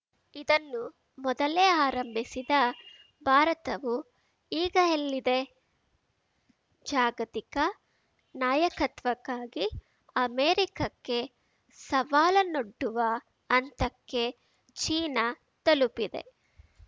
ಇದನ್ನು ಮೊದಲೇ ಆರಂಭಿಸಿದ ಭಾರತವು ಈಗ ಎಲ್ಲಿದೆ ಜಾಗತಿಕ ನಾಯಕತ್ವಕ್ಕಾಗಿ ಅಮೆರಿಕಕ್ಕೆ ಸವಾಲನ್ನೊಡ್ಡುವ ಹಂತಕ್ಕೆ ಚೀನಾ ತಲುಪಿದೆ